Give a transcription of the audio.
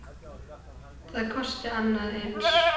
Það kosti annað eins.